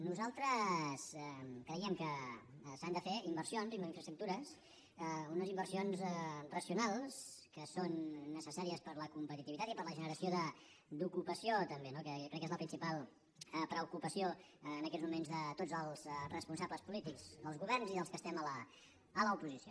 nosaltres creiem que s’han de fer inversions en infraestructures unes inversions racionals que són necessàries per a la competitivitat i per a la generació d’ocupació també no que jo crec que és la principal preocupació en aquests moments de tots els responsables polítics dels governs i dels que estem a l’oposició